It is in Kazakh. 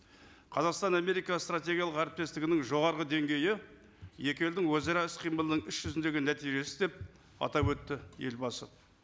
қазақстан америка стратегиялық әріптестігінің жоғарғы деңгейі екі елдің өзара іс қимылының іс жүзіндегі нәтижесі деп атап өтті елбасы